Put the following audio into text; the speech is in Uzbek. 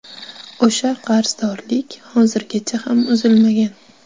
O‘sha qarzdorlik hozirgacha ham uzilmagan.